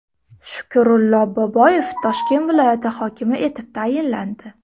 Shukurullo Boboyev Toshkent viloyati hokimi etib tayinlandi .